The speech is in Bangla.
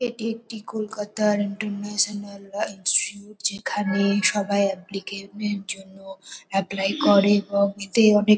এটি একটি কলকাতার ইন্টারন্যাশনাল ব্রাঞ্চ যেখানে সবাই অপ্প্লিক্যানের -এর জন্য এপ্লাই করে এবং এতে অনেক--